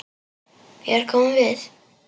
Hér komum við!